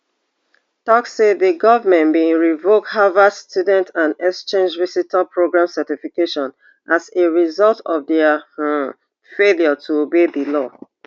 tok say di goment bin revoke harvard student and exchange visitor program certification as a result of dia um failure to obey di law